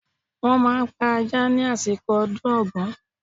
Wọ́n máa pa ajá ni àsìkò ọdún Ògún.